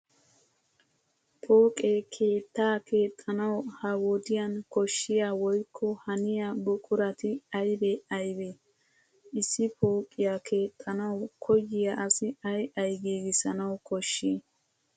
Pooqe keettaa keexxanawu ha wodiyan koshshiya woykko haniya buqurati aybee aybee? Issi pooqiyaa keexxanawu koyiya asi ay ay giigissanawu koshshii?